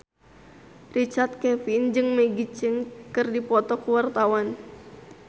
Richard Kevin jeung Maggie Cheung keur dipoto ku wartawan